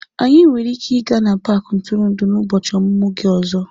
Anyị nwere ike ịga n'paaki ntụrụndụ n'ụbọchị ọmụmụ gị ọzọ.